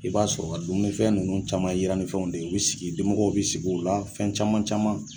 I b'a sɔrɔ ka dumunifɛn ninnu caman yitannifɛnw de ye u bɛ sigi dimɔgɔw bɛ sigi u la fɛn caman caman